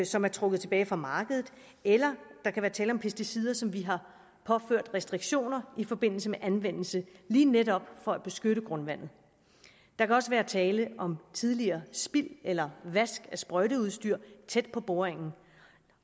som er trukket tilbage fra markedet eller der kan være tale om pesticider som vi har påført restriktioner i forbindelse med anvendelse lige netop for at beskytte grundvandet der kan også være tale om tidligere spild eller vask af sprøjteudstyr tæt på boringen